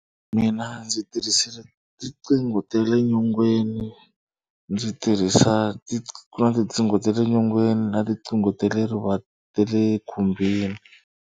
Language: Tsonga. Mina ndzi tirhisile tinqingho ta le nyongeni. Ndzi tirhisa ku na tinqingho ta le nyongeni na tinqingho ta le ta le khumbini.